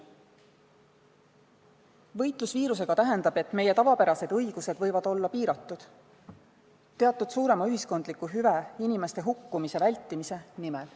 Võitlus viirusega tähendab, et meie tavapärased õigused võivad olla piiratud teatud suurema ühiskondliku hüve, inimeste hukkumise vältimise nimel.